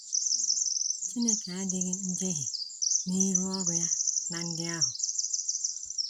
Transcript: Chineke adịghị njehie n’ịrụ ọrụ ya na ndị ahụ.